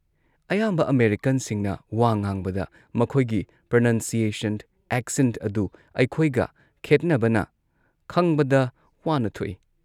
ꯑꯌꯥꯝꯕ ꯑꯃꯦꯔꯤꯀꯟꯁꯤꯡꯅ ꯋꯥ ꯉꯥꯡꯕꯗ ꯃꯈꯣꯏꯒꯤ ꯄ꯭ꯔꯅꯟꯁꯤꯌꯦꯁꯟ, ꯑꯦꯛꯁꯦꯟꯠ ꯑꯗꯨ ꯑꯩꯈꯣꯏꯒ ꯈꯦꯠꯅꯕꯅ ꯈꯪꯕꯗ ꯋꯥꯅ ꯊꯣꯛꯏ